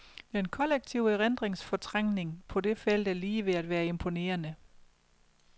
Den kollektive erindringsfortrængning på det felt er lige ved at være imponerende.